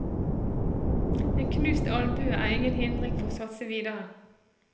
En knust albue er ingen hindring for å satse videre.